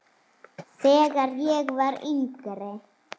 Þegar ég var yngri.